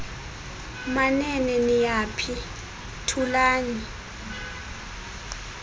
manene niyaphi thulani